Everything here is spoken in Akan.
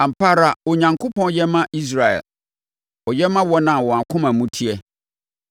Ampa ara Onyankopɔn yɛ ma Israel, ɔyɛ ma wɔn a wɔn akoma mu teɛ.